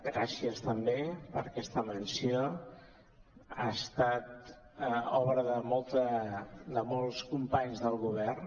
gràcies també per aquesta menció ha estat obra de molts com·panys del govern